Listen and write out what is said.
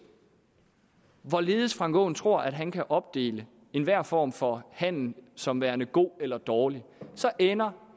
hvorledes herre frank aaen tror at han kan opdele enhver form for handel som værende god eller dårlig så ender